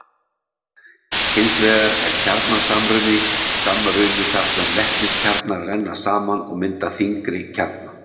Hins vegar er kjarnasamruni þar sem vetniskjarnar renna saman og mynda þyngri kjarna.